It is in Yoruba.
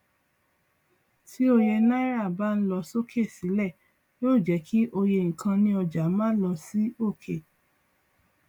tí òye náírà bá ń lọ sókè sílẹ yóò jẹ kí òye nkan ní ọjà má lọ sí òkè